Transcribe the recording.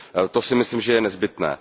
To si myslím, že je nezbytné.